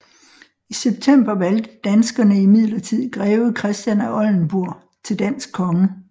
I september valgte danskerne imidlertid greve Christian af Oldenburg til dansk konge